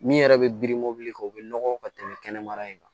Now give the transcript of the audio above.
Min yɛrɛ bɛ biri mobili kɛ o bɛ nɔgɔ ka tɛmɛ kɛnɛma